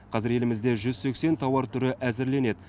қазір елімізде жүз сексен тауар түрі әзірленеді